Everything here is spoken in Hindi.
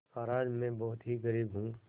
महाराज में बहुत ही गरीब हूँ